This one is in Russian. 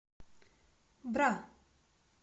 бра